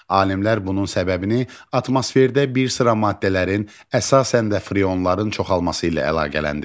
Alimlər bunun səbəbini atmosferdə bir sıra maddələrin, əsasən də freonların çoxalması ilə əlaqələndirirlər.